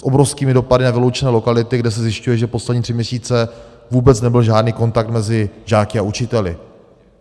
S obrovskými dopady na vyloučené lokality, kde se zjišťuje, že poslední tři měsíce vůbec nebyl žádný kontakt mezi žáky a učiteli.